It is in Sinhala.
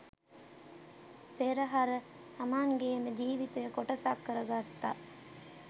පෙරහර තමන්ගේම ජීවිතයේ කොටසක් කර ගත්තා